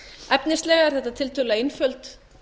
efnislega er þetta tiltölulega einföld